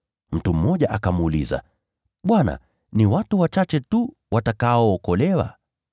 Mtu mmoja akamuuliza, “Bwana, ni watu wachache tu watakaookolewa?”